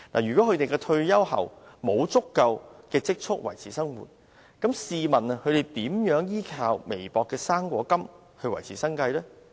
如果他們在退休後沒有足夠的積蓄維持生活，試問他們如何依靠微薄的高齡津貼來維持生計？